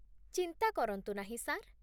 ଚିନ୍ତା କରନ୍ତୁ ନାହିଁ, ସାର୍।